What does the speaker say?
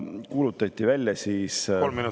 Kolm minutit lisaaega, palun!